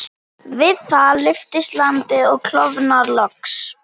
Við það lyftist landið og klofnar loks.